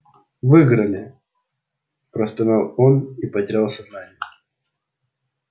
выиграли простонал он и потерял сознание